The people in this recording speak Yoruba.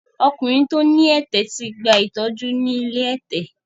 Ọkùnrin tí ó ní ẹ̀tẹ̀ ti gba ìtọ́jú ni ilé ẹ̀tẹ̀.